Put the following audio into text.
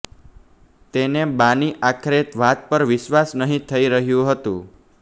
તેને બાની આખરે વાત પર વિશ્વાસ નહી થઈ રહ્યું હતું